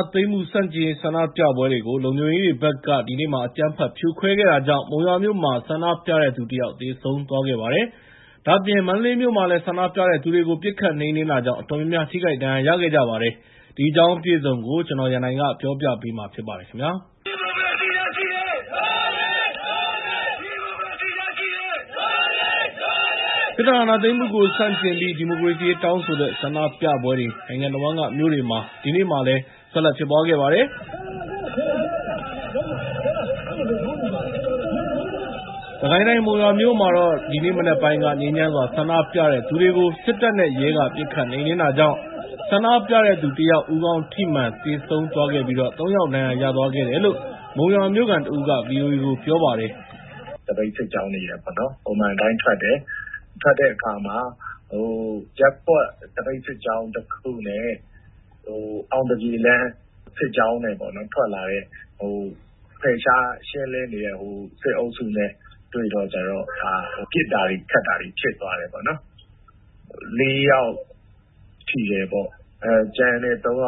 ာသိမ်းမှုဆန့်ကျင်ရေးဆန္ဒပြပွဲတွေကို လုံခြုံရေးတွေဘက်က အကြမ်းဖက်ဖြိုခွဲတာတွေကြောင့် မုံရွာမြို့မှာ ဆန္ဒပြတဲ့သူ ၁ ယောက်သေဆုံးသွားခဲ့ပါတယ်။ ဒါ့အပြင် မန္တလေးမြို့မှာလည်း ဆန္ဒပြတဲ့သူတွေကို ပစ်ခတ်နှိမ်နှင်းတာကြောင့် အတော်များများ ထိခိုက်ဒဏ်ရာရခဲ့ကြသူတွေအနက်က တယောက် သေဆုံးသွားပါတယ်။ ဒီအကြောင်းအပြည့်အစုံကို ကိုရန်နိုင်က သတင်းပေးပို့ထားပါတယ်။ စစ်တပ်အာဏာသိမ်းမှုကိုဆန့်ကျင်ပြီး ဒီမိုကရေစီရေးတောင်းဆိုတဲ့ဆန္ဒပြပွဲတွေ နိုင်ငံတဝန်းကမြို့တွေမှာ ဒီနေ့ ဆက်လက်ဖြစ်ပွားခဲ့ပါတယ်။စစ်ကိုင်းတိုင်း မုံရွာမြို့မှာတော့ ဒီနေ့မနက်ပိုင်းက ငြိမ်းချမ်းစွာ ဆန္ဒပြတဲ့သူတွေကို စစ်တပ်နဲ့ရဲက ပစ်ခတ်နှိမ်နှင်းတာကြောင့် ဆန္ဒပြတဲ့သူ ၁ ယောက် ဦးခေါင်းထိမှန် သေဆုံးသွားခဲ့ပြီး ၃ ယောက် ဒဏ်ရာရသွားခဲ့တယ်လို့ မုံရွာမြို့ခံတဦးက ဗီအိုအေကို ပြောပါတယ်။ “သပိတ်စစ်ကြောင်းတွေ ပုံမှန်အတိုင်းထွက်တဲ့အခါမှာ ရပ်ကွက်သပိတ်စစ်ကြောင်းနဲ့ အောင်သပြေလမ်း ဖယ်ရှားရှင်းလင်းနေတဲ့ စစ်အုပ်စုနဲ့ တွေ့တော့ ပစ်တာခတ်တာတွေဖြစ်သွားတယ်။ ၄ ယောက်ထိတယ်။ ၃ ယော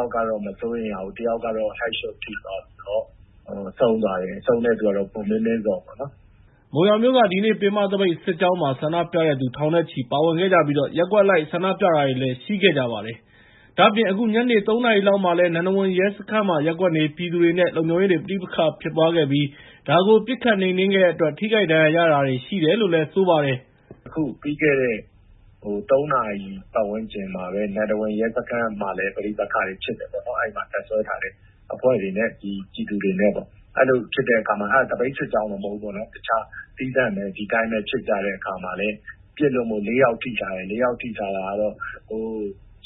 က်ကတော့ မစိုးရိမ်ရဘူး၊ ၁ ယောက်ကတော့ ဦးခေါင်းကျည်ထိမှန် (Head Shot) ထိသွားပြီးတော့ ဆုံးသွားတယ်။ ဆုံးတဲ့သူက ကိုမင်းမင်းဇော်ပါ။” မုံရွာမြို့က ဒီနေ့ ပင်မသပိတ်စစ်ကြောင်းမှာ ဆန္ဒပြတဲ့သူ ထောင်နဲ့ချီပါဝင်ခဲ့ကြပြီး ရပ်ကွက်အလိုက်ဆန္ဒပြတာတွေလည်းရှိခဲ့ပါတယ်။ ဒါ့အပြင် အခုညနေ ၃ နာရီလောက်မှာလည်း နန္ဒဝန်ရဲစခန်းမှာ ရပ်ကွက်နေပြည်သူတွေ နဲ့ လုံခြုံရေးတွေ ပဋိပက္ခဖြစ်ပွားခဲ့ပြီး ဒါကို ပစ်ခတ်နှိမ်နှင်းခဲ့တဲ့အတွက် ထိခိုက်ဒဏ်ရာရတာတွေရှိတယ်လို့ ပြောပါတယ်။ “အခုပြီးခဲ့တဲ့ ၃ နာရီပတ်ဝန်းကျင်မှာလည်း နန္ဒဝန်ရဲစခန်းမှာလည်း ပဋိပက္ခတွေဖြစ်တယ်၊ အဲဒီမှာ တပ်စွဲထားတဲ့ အဖွဲ့တွေနဲ့ ပြည်သူတွေနဲ့။ အဲဒါကသပိတ်စစ်ကြောင်းမဟုတ်ဘူး၊ ဒီအတိုင်းသီးသန့် ဒီအတိုင်းဖြစ်ကြတာ။ အဲဒီမှာပစ်လို့၄ ယောက်ထိသွားတယ်။ အဲဒီထိတဲ့အထိမှာ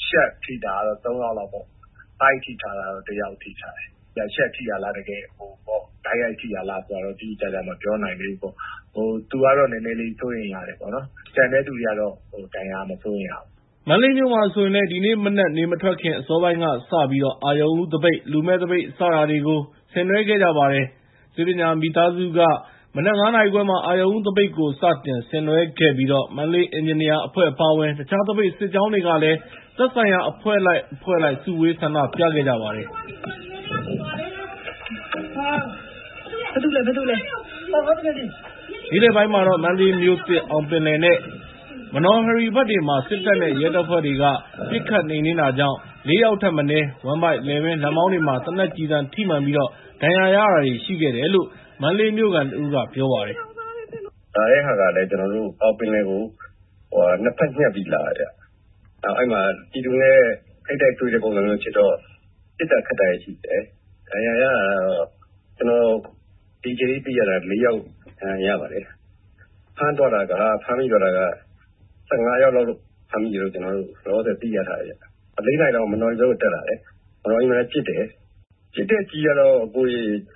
ရှပ်ထိတာက ၃ ယောက် ၊ ဗိုက်ထိတာက ၁ ယောက်ပေါ့။ အဲဒီဗိုက်ထိတဲ့သူက ရှပ်ထိတာလား တိုက်ရိုက်ထိတာလားဆိုတာတော့ တိတိကျကျ မပြောနိုင်သေးဘူး။ သူကတော့ နည်းနည်းလေး စိုးရိမ်ရတယ်။ ကျန်တဲ့သူတွေကတော့ မစိုးရိမ်ရဘူး။” မန္တလေးမြို့မှာဆိုရင်လည် ဒီနေ့မနက် နေမထွက်ခင် အစောပိုင်းကစပြီး အရုဏ်ဦးသပိတ်၊ လူမဲ့သပိတ် စတာတွေကို ဆင်နွဲခဲ့ကြပါတယ်။ ဆေးပညာမိသားစုက မနက် ၅ နာရီခွဲမှာ အရုဏ်ဦးသပိတ်ကို စတင်ဆင်နွဲခဲ့ပြီးတော့ မန္တလေးအင်ဂျင်နီယာများအဖွဲ့အပါအဝင် တခြား သပိတ်စစ်ကြောင်းတွေကလည်း သက်ဆိုင်ရာ အဖွဲ့လိုက် အဖွဲ့လိုက် စုဝေးဆန္ဒပြခဲ့ကြပါတယ်။ နေ့လည်ပိုင်းမှာတော့ မန္တလေးမြို့သစ်က အောင်ပင်လယ် နဲ့ မနော်ဟရီဘက်တွေမှာ စစ်တပ်နဲ့ရဲတပ်ဖွဲ့တွေက ပစ်ခတ်နှိမ်နှင်းတာကြောင့် ၄ ယောက်ထက်မနည်း ဝမ်းဗိုက်၊ လည်ပင်း၊ လက်မောင်းတွေမှာ သေနတ်ကျည်ထိမှန်ပြီး ဒဏ်ရာရတာတွေရှိတယ်လို့ မန္တလေးမြို့ခံတဦးက ပြောပါတယ်။ “ကျနော်တို့ အောင်ပင်လယ်ကို ၂ ဘက် ညှပ်ပြီးလာတယ်။ အဲဒီမှာ ပြည်သူနဲ့ထိပ်တိုက်တွေ့တဲ့ ပုံစံမျိုးဖြစ်ကြတော့ ပစ်ခတ်တာတွေရှိတယ်။ ဒဏ်ရာရတာကတော့ ကျနော်ဒီအချိန်ထိ သိရတာကတော့ ၄ ယောက် ဒဏ်ရာရပါတယ်။ ဖမ်းသွားတာကတော့ ၁၅ ယောက်လောက် ဖမ်းသွားတယ်လို့ ကျနော်တို့ လောလောဆယ်သိထားတယ်။ ၄ နာရီလောက်ကျတော့ မနော်ဟရီဘက်ကို တက်လာတယ်။ မနော်ဟရီမှာလည်း ပစ်တယ်။ ပစ်တဲ့ကျည်ကတော့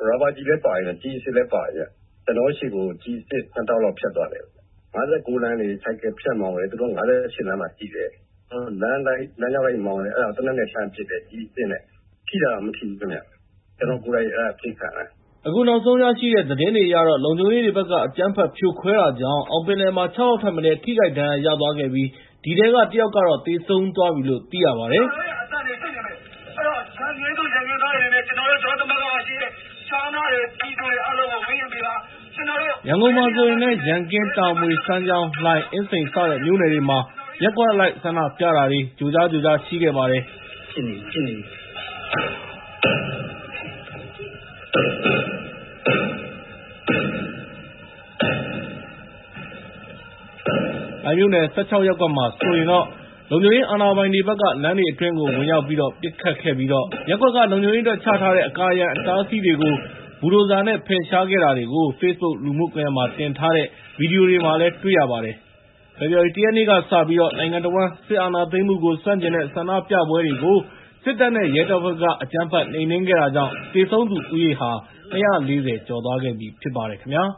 ရာဘာကျည်လည်းပါတယ်။ ကျည်အစစ်လည်းပါတယ်။ ကျနော်တို့ဆီကို ကျည်အစစ် ၂ တောင့်လောက် ဖြတ်သွားတယ်။ ၅၉လမ်းကနေ ဆိုင်ကယ်ဖြတ်မောင်းတာ၊ သူတို့က ဟိုဘက် ၅၈ လမ်းမှာရှိတယ်။ လမ်းအတိုင်း လမ်းတောက်လျှောက်မောင်းတာ အဲဒါကို သေနတ်နဲ့လှမ်းပစ်တယ်။ ကျည်အစစ်နဲ့။ ထိတာတော့ မထိဘူးဗျ။ အဲဒါက ကျနော်ကိုယ်တိုင် ပစ်ခံရတာ။” အခုနောက်ဆုံးရရှိတဲ့ သတင်းတွေအရတော့ လုံခြုံရေးတွေဘက်က အကြမ်းဖက်ဖြိုခွဲတာကြောင့် အောင်ပင်လယ်မှာ ၆ ယောက် ထက်မနည်း ထိခိုက်ဒဏ်ရာရသွားခဲ့ပြီး ဒီထဲက ၁ ယောက်ကတော့ သေဆုံးသွားပြီလို့ သိရပါတယ်။ ရန်ကုန်မြို့မှာဆိုရင်လည်း ရန်ကင်း၊ တာမွေ၊ စမ်းချောင်း၊ လှိုင်၊ အင်းစိန် စတဲ့မြို့နယ်တွေမှာ ရပ်ကွက်အလိုက် ဆန္ဒပြတာတွေ ကြိုကြား ကြိုကြားရှိခဲ့ပါတယ်။ လှိုင်မြို့နယ် ၁၆ ရပ်ကွက်မှာဆိုရင်လည်း လုံခြုံရေးအာဏာပိုင်တွေဘက်က လမ်းတွေအတွင်းကိုဝင်ရောက်ပြီးတော့ ပစ်ခတ်ခဲ့ပြီး လုံခြုံရေးအတွက် ချထားတဲ့ အကာအရံအတားအဆီးတွေကို ဘူဒိုဇာတွေ ဖယ်ရှားခဲ့တာတွေကို Facebook လူမှုကွန်ရက်မှာ တင်ထားတဲ့ ဗီဒီယိုမှာ တွေ့ရပါတယ်။ ဖေဖော်ဝါရီ ၁ ရက်နေ့ကစပြီး နိုင်ငံတဝန်းက စစ်အာဏာသိမ်းမှုကို ဆန့်ကျင်တဲ့ ဆန္ဒပြပွဲတွေကို စစ်တပ်နဲ့ရဲတပ်ဖွဲ့တွေက အကြမ်းဖက်နှိမ်နှင်းခဲ့တာကြောင့် သေဆုံးသူဦးရေဟာ ၂၄၀ ကျော်သွားခဲ့ပြီဖြစ်ပါတယ်ခင်ဗျာ။